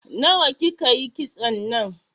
Nawa ki ka yi kitson nan?